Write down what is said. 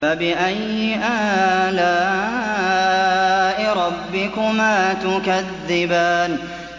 فَبِأَيِّ آلَاءِ رَبِّكُمَا تُكَذِّبَانِ